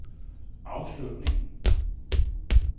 afslutning